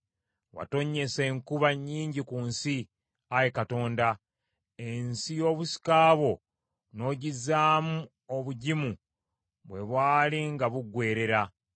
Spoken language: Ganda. Watonnyesa enkuba nnyingi ku nsi, Ayi Katonda; ensi y’obusika bwo n’ogizzaamu obugimu bwe bwali nga buggweerera;